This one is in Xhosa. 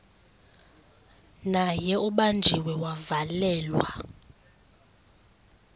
naye ubanjiwe wavalelwa